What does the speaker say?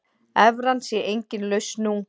Evran sé engin lausn nú.